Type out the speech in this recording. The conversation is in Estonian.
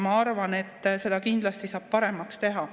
Ma arvan, et seda kindlasti saab paremaks teha.